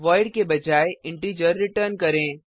void के बजाय integer return करें